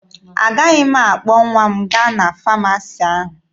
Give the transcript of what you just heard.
Agaghị m akpọ nwa m gaa na famasi ahụ.